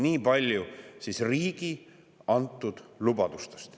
Nii palju siis riigi antud lubadustest ...